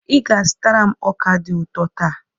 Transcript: Ị ga-azụtara m ọka dị ụtọ taa.